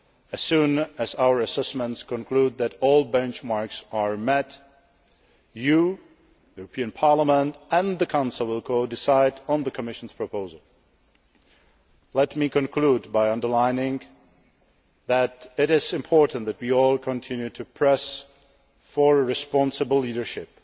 As soon as our assessments conclude that all benchmarks are met, the European Parliament, and the Council will codecide on the Commission's proposal. Let me conclude by underlining that it is important that we all continue to press for a responsible leadership